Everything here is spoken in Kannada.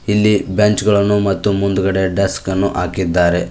ಇಲ್ಲಿ ಬೆಂಚ್ ಗಳನ್ನು ಮತ್ತು ಮುಂದಗಡೆ ಡೆಸ್ಕ್ ಅನ್ನು ಆಕಿದ್ದಾರೆ.